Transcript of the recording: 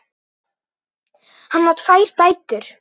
Hann á tvær dætur.